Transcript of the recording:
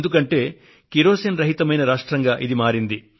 ఎందుకంటే కిరోసిన్ రహితమైన రాష్ట్రంగా ఇది మారిపోయింది